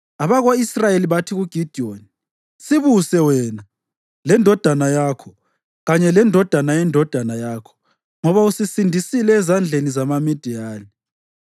Abako-Israyeli bathi kuGidiyoni, “Sibuse wena, lendodana yakho kanye lendodana yendodana yakho ngoba usisindisile ezandleni zamaMidiyani.”